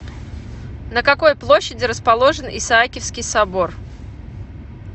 на какой площади расположен исаакиевский собор